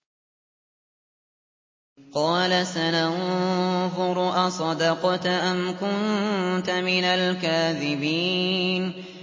۞ قَالَ سَنَنظُرُ أَصَدَقْتَ أَمْ كُنتَ مِنَ الْكَاذِبِينَ